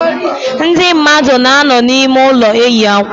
Ndị mmadụ na-anọ n'ime ụlọ eyi akwa.